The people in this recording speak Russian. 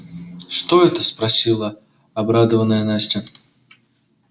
что это спросила обрадованная настя